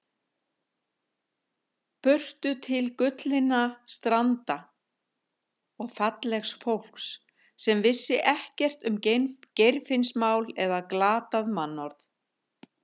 Burtu til gullinna stranda og fallegs fólks sem vissi ekkert um Geirfinnsmál eða glatað mannorð.